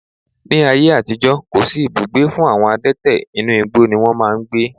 Ní ayé àtijó, kò sí ibùgbé fún àwọn adẹ́tẹ̀, inú igbó ni wón máa ń gbé.